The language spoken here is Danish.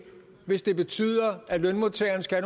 hvis det betyder at lønmodtagerne skal